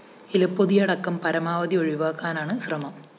ഇലപ്പൊതിയടക്കം പരമാവധി ഒഴിവാക്കാനാണ് ശ്രമം